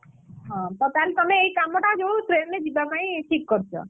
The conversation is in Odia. ହଁ ତ ତାହାଲେ ତମେ ଏଇ କାମଟା ଯୋଉ train ରେ ଯିବା ପାଇଁ ଠିକ୍ କରିଛ?